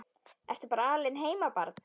Ertu bara alein heima barn?